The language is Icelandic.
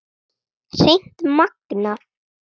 Hreint magnað!